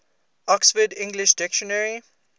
oxford english dictionary